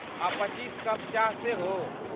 आ पच्चीस कप चाह सेहो।